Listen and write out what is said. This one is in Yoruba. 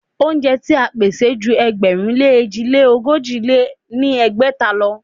Óúnjẹ ti à ń pèsè ju ẹgbẹ̀rún lé èjì lé ogójì lé ní ẹgbẹ́ta lọ.